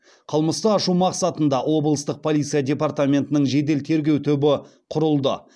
қылмысты ашу мақсатында облыстық полиция департаментінің жедел тергеу түбы құрылды